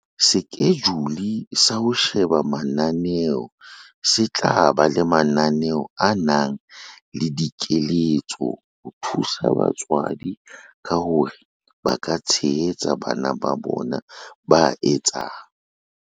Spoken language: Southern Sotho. Sekejule sa ho sheba mananeo se tla ba le mananeo a nang le dikeletso ho thusa batswadi ka hore ba ka tshehetsa bana ba bona ba etsang